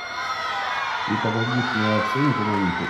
Nitok ko kiit neyooksei ngomamitei historia nebi mionitok eng' familia